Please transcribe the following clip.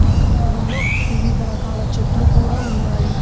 పక్క భాగంలో వివిధ రకాల చెట్లు కూడా ఉన్నాయి.